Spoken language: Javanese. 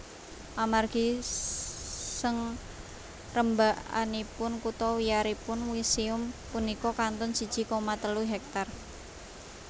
Amargi sngrembakanipun kutha wiyaripun muséum punika kantun siji koma telu hektar